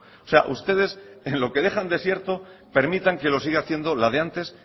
o sea ustedes en lo que dejan desierto permiten que lo siga haciendo la de antes